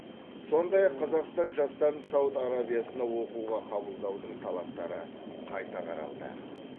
сондай ақ қазақстан жастарын сауд арабиясына оқуға қабылдаудың талаптары қайта қаралды